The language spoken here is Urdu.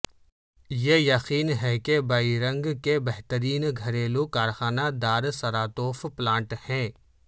یہ یقین ہے کہ بیئرنگ کے بہترین گھریلو کارخانہ دار سراتوف پلانٹ ہے